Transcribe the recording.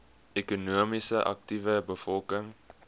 ekonomies aktiewe bevolking